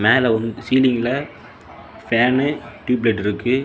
மேல ஒரு சீலிங்ல ஃபேன்னு டியூப் லைட் இருக்கு.